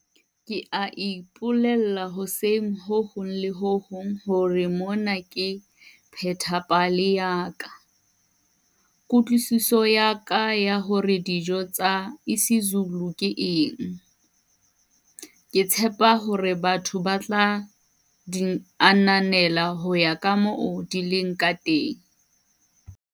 Ke a ipolella hoseng ho hong le ho hong hore mona ke pheta pale ya ka, kutlwisiso ya ka ya hore dijo tsa isiZulu ke eng. Ke tshepa hore batho batla di ananela ho ya kamoo di leng kateng.